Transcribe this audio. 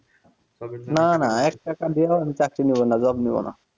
না না এক টাকা দিয়েও আমি চাকরি নিব না job নিব না